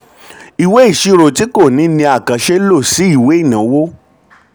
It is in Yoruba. ìṣirò tí kò ní ní àkànṣe lọ sí ìwé ìnáwó.